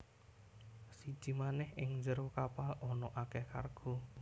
Siji manèh ing njero kapal ana akèh kargo